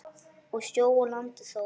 og sjö á landi þó.